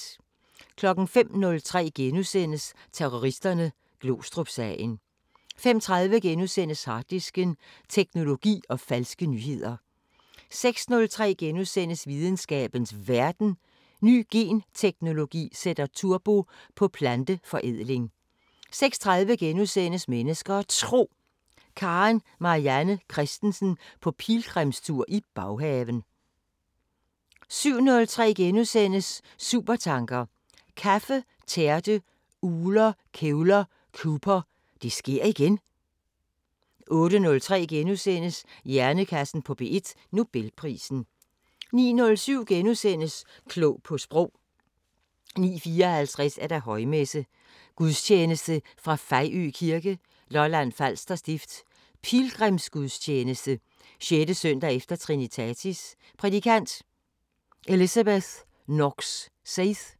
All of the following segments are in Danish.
05:03: Terroristerne: Glostrupsagen * 05:30: Harddisken: Teknologi og falske nyheder * 06:03: Videnskabens Verden: Ny genteknologi sætter turbo på planteforædling * 06:30: Mennesker og Tro: Karen Marianne Kristensen på pilgrimstur i baghaven * 07:03: Supertanker: Kaffe, tærte, ugler, kævler, Cooper – Det sker igen! * 08:03: Hjernekassen på P1: Nobelprisen * 09:07: Klog på Sprog * 09:54: Højmesse - Gudstjeneste fra Fejø Kirke, Lolland-Falster Stift. Pilgrimsgudstjeneste. 6.s.e Trinitatis. Prædikant: Elizabeth Knox-Seith.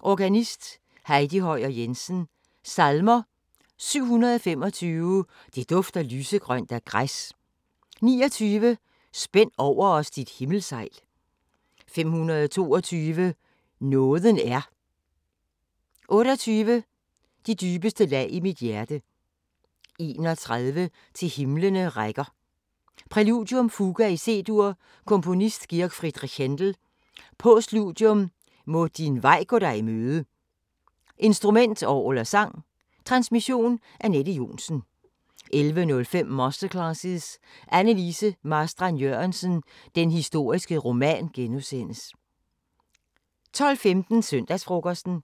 Organist: Heidi Høyer Jensen. Salmer: 725: "Det dufter lysegrønt af græs" 29: "Spænd over os dit himmelsejl" 522: "Nåden er" 28: "De dybeste lag i mit hjerte" 31: "Til himlene rækker" Præludium: Fuga i C-dur. Komponist: G. F. Händel. Postludium: Må din vej gå dig i møde. Instrument: Orgel/sang. Transmission: Anette Johnsen. 11:05: Masterclasses – Anne Lise Marstrand-Jørgensen: Den historiske roman * 12:15: Søndagsfrokosten